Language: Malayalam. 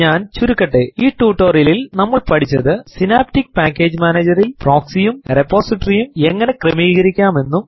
ഞാൻ ചുരുക്കട്ടെ ഈ ടുട്ടൊറിയലിൽ നമ്മൾ പഠിച്ചത് സിനാപ്റ്റിക് പാക്കേജ് മാനേജർ ൽ പ്രോക്സി ഉം റിപ്പോസിറ്ററി ഉം എങ്ങനെ ക്രമീകരിക്കാം എന്നും